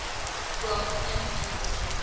from and unlawful